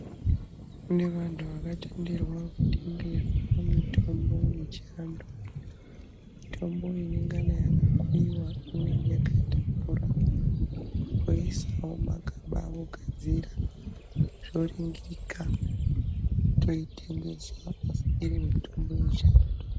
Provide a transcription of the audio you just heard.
Nevantu vakatenderwa kutengesa mutombo yechiantu mutombo inengana yakakuyiwa inenga yakaita mvura woisawo mumagaba vogadzira zvoringirika toitengesa asa iri mutombo yechiantu.